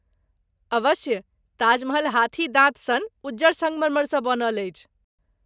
अवश्य ,ताजमहल हाथी दाँत सन उज्जर संगमरमरसँ बनल अछि।